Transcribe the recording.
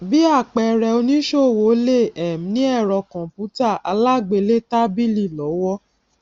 bí àpẹẹrẹ oníṣòwò lè um ní ẹrọ kọnpútà alágbélétábìlì lọwọ